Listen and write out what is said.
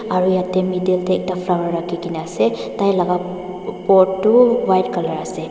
aro yete middle de ekta flower raki kina ase tai laka pot tu white color ase.